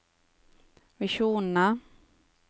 visjonene